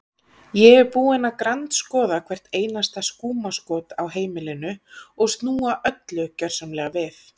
Ég er búin að grandskoða hvert einasta skúmaskot á heimilinu og snúa öllu gjörsamlega við.